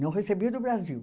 Não recebia do Brasil.